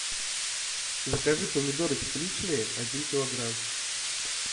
закажи помидоры тепличные один килограмм